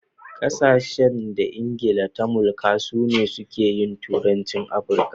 Ƙasashen da England ta mulka su ne suke yin turanci a AfriKa.